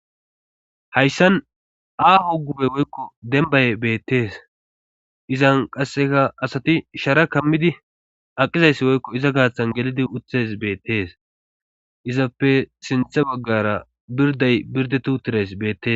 hayssan aaho gube woykko dembay beettees izan qasseka asati shara kammidi aqizayssi woykko iza gaaththan gelidi uthes beettees izappe sinthe baggara birday birdetu tires beettes